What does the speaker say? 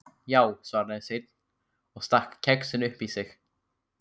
Já, svaraði Sveinn og stakk kexinu upp í sig.